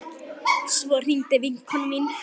Svo hringdi vinkona mín.